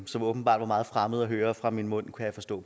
som åbenbart var meget fremmed at høre fra min mund kan jeg forstå